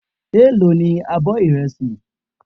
Èló ní abọ́ ìrẹsì.